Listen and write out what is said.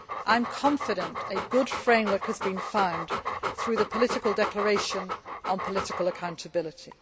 I am confident that a good framework has been found through the political declaration on political accountability.